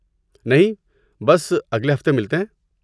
نہیں، بس، اگلے ہفتے ملتے ہیں۔